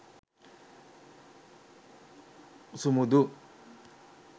sumudu